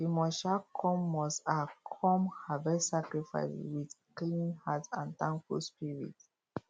you must um come must um come harvest sacrifice with clean heart and thankful spirit